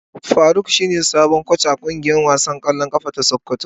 Faruk shine sabon koci a kungiyar kwallon kafa ta sokoto.